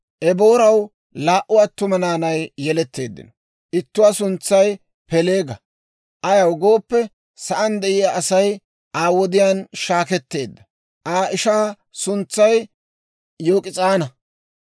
Ebooraw laa"u attuma naanay yeletteeddino. Ittuwaa suntsay Peeleega; ayaw gooppe, sa'aan de'iyaa Asay Aa wodiyaan shaakketeedda; Aa ishaa suntsay Yok'is'aana.